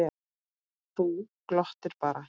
Þú glottir bara!